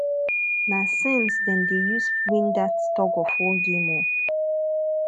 na sense them dey use win that tugofwar game o